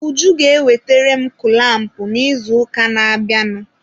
Uju ga-ewetere m kụlampụ n'izuụka na-abịanụ.